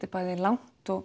er bæði langt og